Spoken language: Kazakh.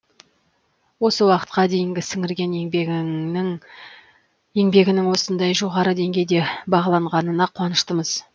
осы уақытқа дейінгі сіңірген еңбегінің осындай жоғары деңгейде бағаланғанына қуаныштымыз